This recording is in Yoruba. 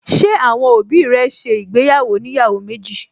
Ṣé àwọn òbí rẹ̀ ṣe ìgbéyàwó oníyàwó méjì?